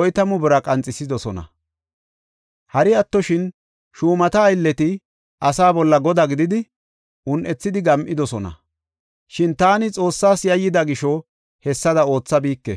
oytamu bira qanxisidosona. Hari attoshin shuumata aylleti asaa bolla godaa gididi un7ethidi gam7idosona. Shin taani Xoossas yayyida gisho, hessada oothabike.